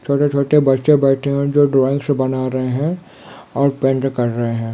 छोटे छोटे बच्चे बेठे हुए है जो ड्राइंग्स बना रहे है और पैंट रहे है।